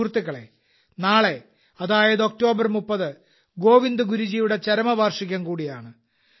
സുഹൃത്തുക്കളെ നാളെ അതായത് ഒക്ടോബർ 30 ഗോവിന്ദ് ഗുരുജിയുടെ ചരമവാർഷികം കൂടിയാണ്